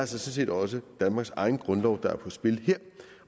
set også danmarks egen grundlov der er på spil her